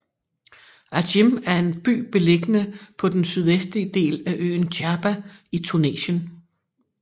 Ajim er en by beliggende på den sydvestlige del af øen Djerba i Tunesien